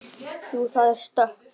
Jú, það er stökk.